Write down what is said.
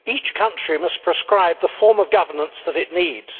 Each country must prescribe the form of governance that it needs.